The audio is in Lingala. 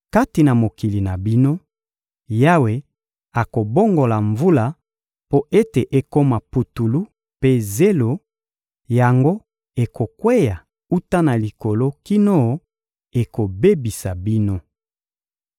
Kati na mokili na bino, Yawe akobongola mvula mpo ete ekoma putulu mpe zelo; yango ekokweya wuta na likolo kino ekobebisa bino.